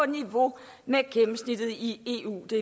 niveau med gennemsnittet i eu det